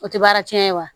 O tɛ baara cɛn ye wa